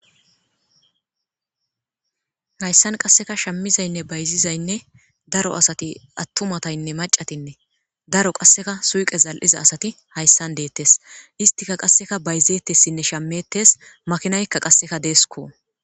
Haysan qaseka shamizayinne bayizizayinne ,atumataynne macatinne, daro qaseka suyiqen zal'iza asati haysan detesi istika qaseka bayzetesinne shametesi, makinayka qaseka desko.